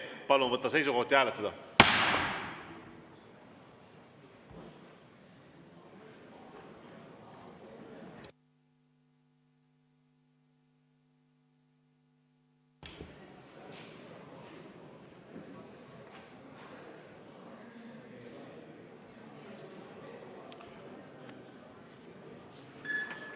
Palun võtta seisukoht ja hääletada!